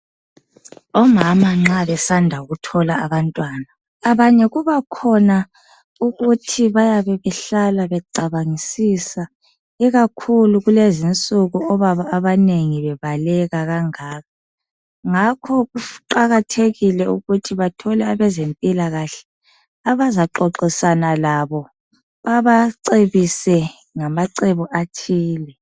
Omama nxa besanda kuthola abantwana abanye kubakhona ukuthi bayabe behlala becabangisisa ikakhulu kulezi insuku obaba abanengi bebaleka kangaka ngakho kuqakathekile ukuthi bathole abezempilakahle abazaxoxisana labo babacebise ngamacebo athile.